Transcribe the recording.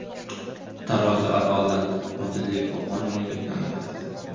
Tarozi adolat, odillik va qonuniylikni anglatadi.